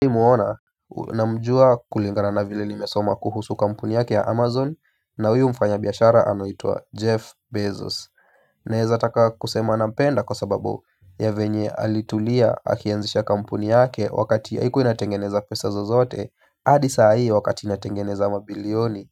Hii muona namjua kulingana na vile nimesoma kuhusu kampuni yake ya Amazon na huyu mfanyabiashara anuitwa Jeff Bezos naeza taka kusema nampenda kwa sababu ya venye alitulia akianzisha kampuni yake wakati haikuwa inatengeneza pesa zozote hadi saa hii wakati inatengeneza mabilioni